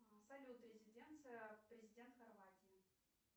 салют резиденция президент хорватии